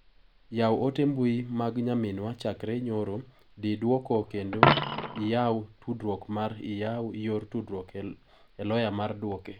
Yaw ote mbui mag nyaminwa chakre nyoro, di duoko kende iyaw tudruok mar iyaw yor tudruok e loya mar duoke.